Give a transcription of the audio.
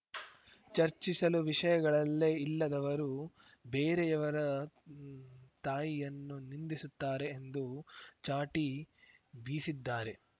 ಚರ್ಚಿಸಲು ವಿಷಯಗಳಲ್ಲೇ ಇಲ್ಲದವರು ಬೇರೆಯವರ ತಾಯಿಯನ್ನು ನಿಂದಿಸುತ್ತಾರೆ ಎಂದು ಚಾಟಿ ಬೀಸಿದ್ದಾರೆ